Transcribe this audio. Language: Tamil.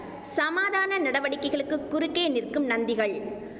சமாதான நடவடிக்கைகளுக்கு குறுக்கே நிற்கும் நந்திகள்